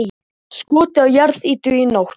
Skotið á jarðýtu í nótt